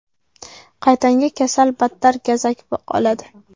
Qaytanga kasal battar gazak oladi.